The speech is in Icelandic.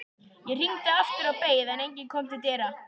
Ég hringdi aftur og beið, en enginn kom til dyra.